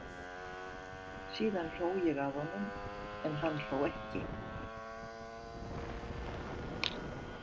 Síðan hló ég að honum en hann hló ekki.